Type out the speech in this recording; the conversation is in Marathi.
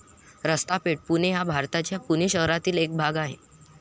रस्ता पेठ, पुणे हा भारताच्या पुणे शहरातील एक भाग आहे.